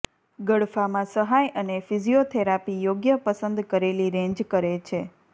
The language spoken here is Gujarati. ગળફામાં સહાય અને ફિઝીયોથેરાપી યોગ્ય પસંદ કરેલી રેંજ કરે છે